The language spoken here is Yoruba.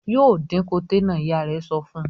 "Yóò dín koté náà!" Ìyá rẹ̀ sọ fún un.